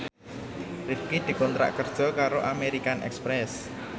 Rifqi dikontrak kerja karo American Express